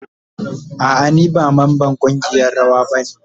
A'a ni ba mamban kungiyan rawa ba ne.